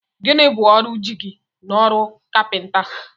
Gịnị bụ ọrụ jigi n'ọrụ kapinta?